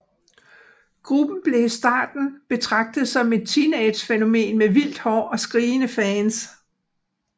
Gruppen blev i starten betragtet som et teenagefænomen med vildt hår og skrigende fans